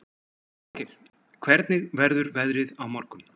Svangeir, hvernig verður veðrið á morgun?